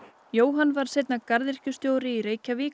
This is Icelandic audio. Jóhann varð seinna garðyrkjustjóri í Reykjavík